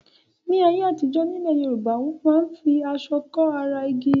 Ní ayé àtijọ́ nílẹ̀ Yorùbá wọn máa ń fi aṣọ kọ́ ara ògiri.